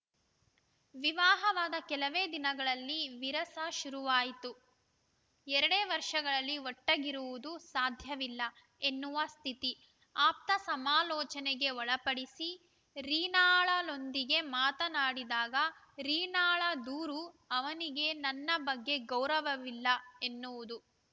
ವಿವಾಹವಾದ ಕೆಲವೇ ದಿನಗಳಲ್ಲಿ ವಿರಸ ಶುರುವಾಯಿತು ಎರಡೇ ವರ್ಷಗಳಲ್ಲಿ ಒಟ್ಟಿಗಿರುವುದು ಸಾಧ್ಯವಿಲ್ಲ ಎನ್ನುವ ಸ್ಥಿತಿ ಆಪ್ತ ಸಮಾಲೋಚನೆಗೆ ಒಳಪಡಿಸಿ ರೀನಾಗಳೊಂದಿಗೆ ಮಾತನಾಡಿದಾಗ ರೀನಾಳ ದೂರು ಅವನಿಗೆ ನನ್ನ ಬಗ್ಗೆ ಗೌರವವಿಲ್ಲ ಎನ್ನುವುದು